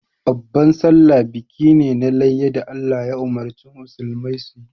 Babban sallah biki ne na layya da Allah ya umurci musulmai su yi.